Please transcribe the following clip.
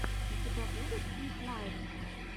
у тебя будет свит лайф